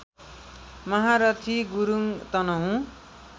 Maharathi Gurung Tanahun